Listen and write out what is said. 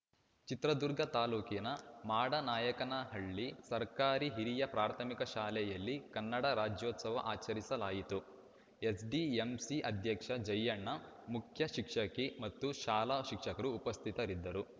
ಚಿತ್ರದುರ್ಗ ತಾಲೂಕಿನ ಮಾಡನಾಯಕನಹಳ್ಳಿ ಸರ್ಕಾರಿ ಹಿರಿಯ ಪ್ರಾಥಮಿಕ ಶಾಲೆಯಲ್ಲಿ ಕನ್ನಡ ರಾಜ್ಯೋತ್ಸವ ಆಚರಿಸಲಾಯಿತು ಎಸ್‌ಡಿಎಂಸಿ ಅಧ್ಯಕ್ಷ ಜಯಣ್ಣ ಮುಖ್ಯಶಿಕ್ಷಕಿ ಮತ್ತು ಶಾಲಾ ಶಿಕ್ಷಕರು ಉಪಸ್ಥಿತರಿದ್ದರು